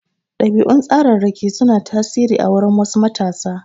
Ɗabi'un tsararraki su na tasiri a wurin wasu matasa.